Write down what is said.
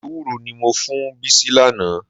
Ewúró ni mo fún Bísí lánàá.